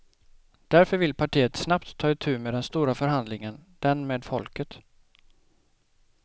Därför vill partiet snabbt ta itu med den stora förhandlingen, den med folket.